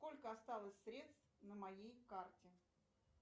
сколько осталось средств на моей карте